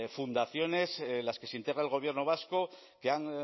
fundaciones en las que se integra el gobierno vasco que han